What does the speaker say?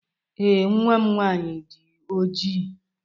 Ee, nwa m nwanyị dị ojii.